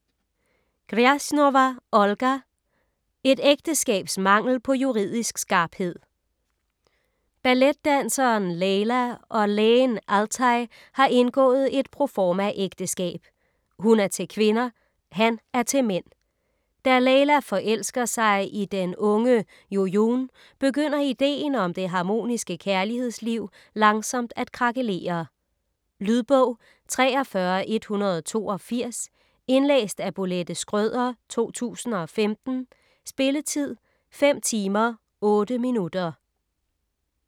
Grjasnowa, Olga: Et ægteskabs mangel på juridisk skarphed Balletdanseren Leyla og lægen Altay har indgået et proformaægteskab. Hun er til kvinder. Han er til mænd. Da Leyla forelsker sig i den unge Jojoun, begynder ideen om det harmoniske kærlighedsliv langsomt at krakelere. Lydbog 43182 Indlæst af Bolette Schrøder, 2015. Spilletid: 5 timer, 8 minutter.